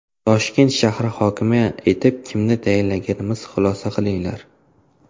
Toshkent shahri hokimi etib kimni tayinlaganimizdan xulosa qilinglar.